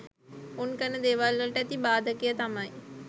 උන් කරන දේවල් වලට ඇති බාදකය තමයි